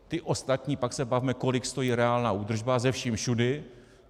Ty ostatní - pak se bavme, kolik stojí reálná údržba se vším všudy.